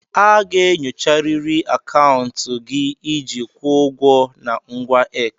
A ga-enyocharịrị akaụntụ gị iji kwụọ ụgwọ na ngwa X.